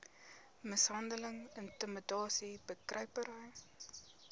mishandeling intimidasie bekruipery